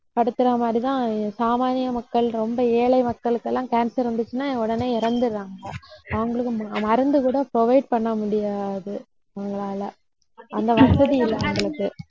படுத்துற மாதிரிதான் சாமானிய மக்கள் ரொம்ப ஏழை மக்களுக்கெல்லாம் cancer வந்துச்சுன்னா உடனே இறந்துடுறாங்க அவங்களுக்கு மருந்து கூட provide பண்ணமுடியாது அவங்களால அந்த வசதி இல்லை அவங்களுக்கு